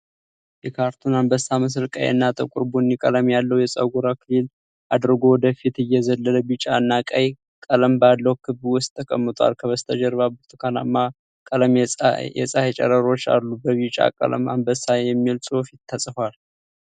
የካርቱን አንበሳ ምስል ቀይ እና ጥቁር ቡኒ ቀለም ያለው የፀጉር አክሊል አድርጎ ወደ ፊት እየዘለለ ቢጫ እና ቀይ ቀለም ባለው ክብ ውስጥ ተቀምጧል፤ ከበስተጀርባ በብርቱካናማ ቀለም የፀሐይ ጨረሮች አሉ። በቢጫ ቀለም "አንበሳ" የሚል ጽሑፍ ተጽፏል፡።